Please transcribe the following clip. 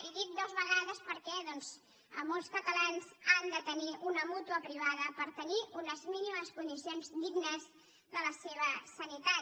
i dic dues vegades perquè molts catalans han de tenir una mútua privada per tenir unes mínimes condicions dignes de la seva sanitat